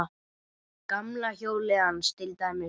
Gamla hjólið hans til dæmis.